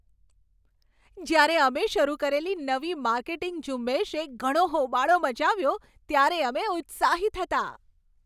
જ્યારે અમે શરૂ કરેલી નવી માર્કેટિંગ ઝુંબેશએ ઘણો હોબાળો મચાવ્યો, ત્યારે અમે ઉત્સાહિત હતાં.